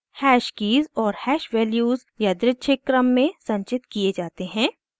hash keys और hash values यादृच्छिक क्रम में संचित किये जाते हैं